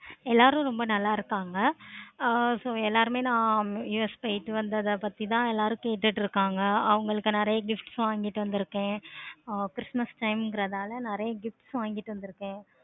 எல்லாரும் ரொம்ப நல்ல இருக்காங்க. ஆஹ் so எல்லாருமே நா US போயிட்டு வந்ததா பத்தி தான் எல்லாரும் கேட்டுட்டு இருக்காங்க. அவங்களுக்கு நெறைய gifts வாங்கிட்டு வந்து இருக்கேன். ஆஹ் christmas time கிறனால நெறைய gifts வாங்கிட்டு வந்துருக்கேன்.